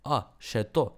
A, še to.